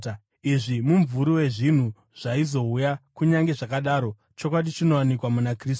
Izvi mumvuri wezvinhu zvaizouya, kunyange zvakadaro, chokwadi chinowanikwa muna Kristu.